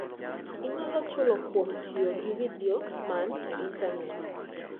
Inyalo chulo kuom tiyo gi vidio man e Intanet.